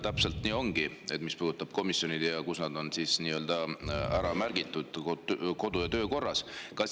Täpselt nii ongi: mis puudutab komisjone, siis need on ära märgitud kodu- ja töökorra.